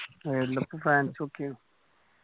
ഇപ്പൊ world cup fans ഒക്കെയാണ്